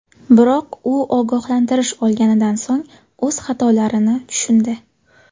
Biroq u ogohlantirish olganidan so‘ng o‘z xatolarini tushundi.